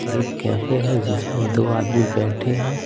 और एक कैफे है जिसमें दो आदमी बैठे हैं।